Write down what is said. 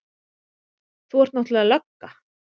Þú ert náttúrlega lögga.